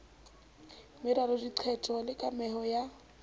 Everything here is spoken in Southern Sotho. meralo diqeto le kameho ya